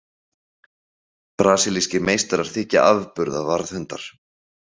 Brasilískir meistarar þykja afburða varðhundar.